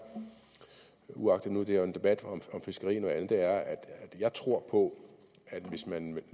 uagtet at det er en debat om fiskeri og andet at jeg tror på at hvis man